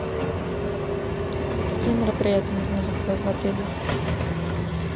какие мероприятия можно заказать в отеле